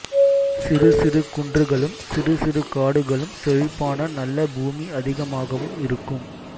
சிறு சிறு குன்றுகளும் சிறு சிறு காடுகளும் செழிப்பான நல்ல பூமி அதிகமாகவும் இருக்கும்